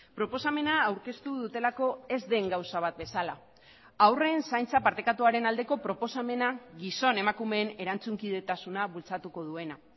proposamena aurkeztu dutelako ez den gauza bat bezala haurren zaintza partekatuaren aldeko proposamena gizon emakumeen erantzunkidetasuna bultzatuko duena